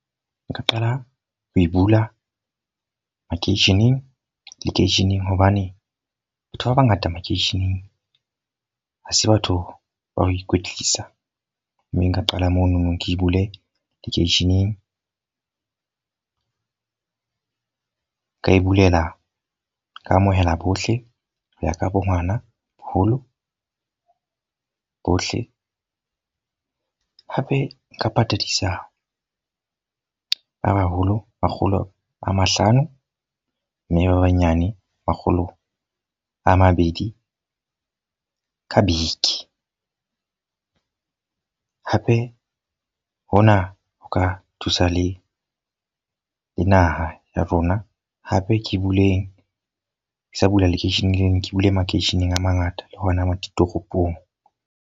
Nka qala ho e bula makeisheneng, lekeisheneng hobane batho ba bangata makeisheneng ha se batho ba ho ikwetlisa. Mme nka qala mono nong ke bule lekeisheneng. Nka e bulela, ka amohela bohle ho ya ka bo ngwana, boholo, bohle. Hape nka patadisa ba baholo, makgolo a mahlano mme ba banyane makgolo a mabedi ka beke. Hape hona ho ka thusa le le naha ya rona. Hape ke sa bula lekeisheneng lena, ke bule makeisheneng a mangata le hona mo ditoropong.